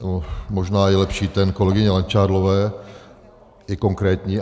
Možná je lepší ten kolegyně Langšádlové, je konkrétní.